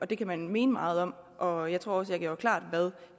det kan man mene meget om og jeg tror også jeg gjorde klart hvad